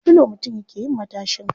Da filo mutum yake yin matashin kai.